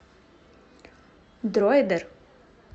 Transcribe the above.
дроидер